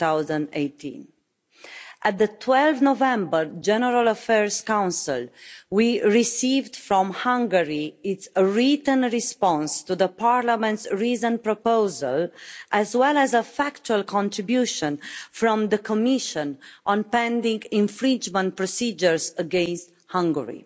2018. At the 12 November General Affairs Council, we received Hungary's written response to Parliament's reasoned proposal, as well as a factual contribution from the Commission on pending infringement procedures against Hungary.